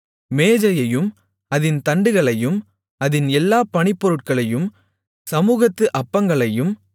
மேஜையையும் அதின் தண்டுகளையும் அதின் எல்லாப் பணிப்பொருட்களையும் சமுகத்து அப்பங்களையும்